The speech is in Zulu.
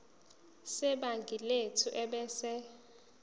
sebhangi lethu ebese